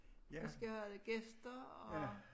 Vi skal have gæster og